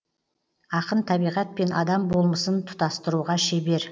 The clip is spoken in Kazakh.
ақын табиғат пен адам болмысын тұтастыруға шебер